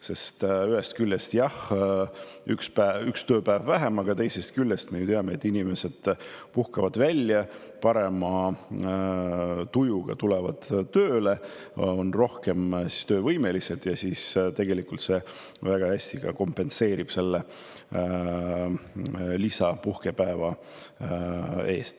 Sest ühest küljest, jah, üks tööpäev oleks vähem, aga teisest küljest me ju teame, et inimesed puhkavad end välja, tulevad parema tujuga tööle, on rohkem töövõimelised, mis tegelikult ka kompenseerib väga hästi selle lisapuhkepäeva.